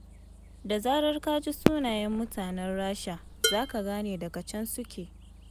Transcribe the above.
Da zarar ka ji sunayen mutanen Rasha, za ka gane daga can suke.